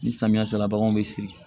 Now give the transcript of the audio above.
Ni samiya sera baganw be siri